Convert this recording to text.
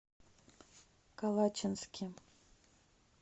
калачинске